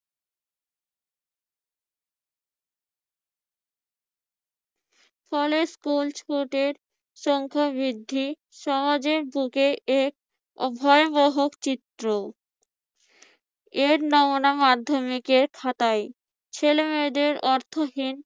college school ছুটির সংখ্যা বৃদ্ধি সমাজের বুকে এর ভয়াবহ চিত্র এর নমুনা মাধ্যমিকের খাতায় ছেলেমেয়েদের অর্থহীন